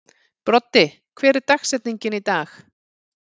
Broddi, hver er dagsetningin í dag?